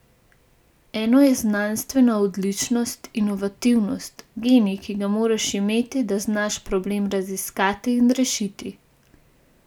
Eno je znanstvena odličnost, inovativnost, genij, ki ga moraš imeti, da znaš problem raziskati in rešiti.